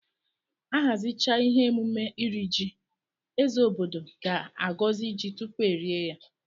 Ahazichaa ihe emume iri ji, eze obodo ga agozi ji tupu erie ya.